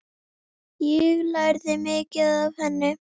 Ég lærði mikið af henni.